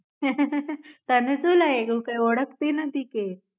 આહ તેને શુ લાયગું કે ઓળખતી નથી કે.